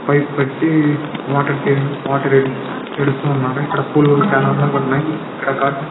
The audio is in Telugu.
పైప్ పెట్టి ఇక్కడ వాటర్ ఈడుస్తున్నారు ఇక్కడ పూలు చాల అందంగాఉన్నాయ్ఇక్కడ--